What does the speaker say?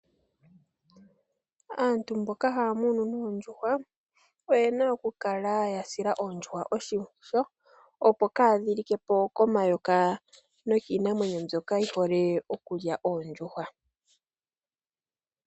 Aantu mboka haya munu noondjuhwa, oye na okukala ya sila oondjuhwa oshimpwiyu ,opo kaadhilikepo komayoka nokiinamwenyo mbyoka yi hole okulya oondjuhwa.